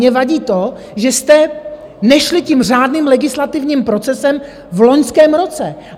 Mně vadí to, že jste nešli tím řádným legislativním procesem v loňském roce.